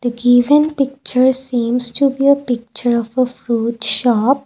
given picture seems to be a picture of a fruit shop.